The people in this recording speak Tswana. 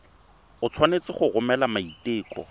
o tshwanetse go romela maiteko